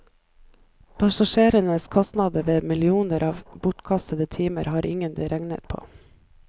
Passasjerenes kostnader ved millioner av bortkastede timer, har ingen regnet på.